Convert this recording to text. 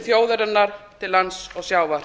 þjóðarinnar til lands og sjávar